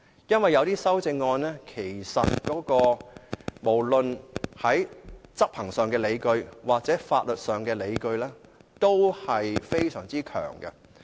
因為有一些修正案，無論是執行上或法律上的理據，均非常強。